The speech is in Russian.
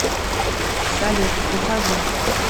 салют ухожу